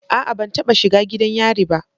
A'a ban taba shiga gidan yari ba.